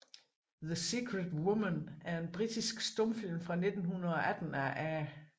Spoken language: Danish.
The Secret Woman er en britisk stumfilm fra 1918 af A